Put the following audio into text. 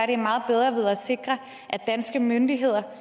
det meget bedre ved at sikre at danske myndigheder